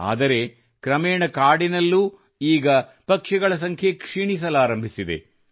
ಆದರೆ ಕ್ರಮೇಣ ಕಾಡಿನಲ್ಲೂ ಈಗ ಪಕ್ಷಿಗಳ ಸಂಖ್ಯೆ ಕ್ಷೀಣಿಸಲಾರಂಭಿಸಿದೆ